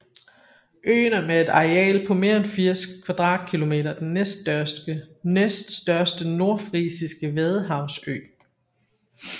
Øen er med et areal på mere end 80 km² den næststørste nordfrisiske vadehavsø